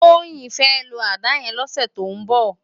Toyin fè ló àdá yèn lòsè tó n bò